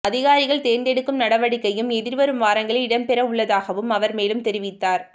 அதிகாரிகள் தேர்ந்தெடுக்கும் நடவடிக்கையும் எதிர்வரும் வாரங்களில் இடம்பெறவுள்ளதாகவும் அவர் மேலும் தெரிவித்தார்